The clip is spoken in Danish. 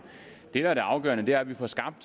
det der er afgørende er at vi får skabt